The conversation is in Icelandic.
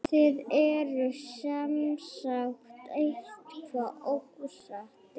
Þið eruð semsagt eitthvað ósáttir?